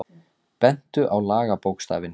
Bentu á lagabókstafinn